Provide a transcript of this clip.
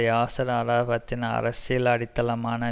யாசர் அரஃபாத்தின் அரசியல் அடித்தளமான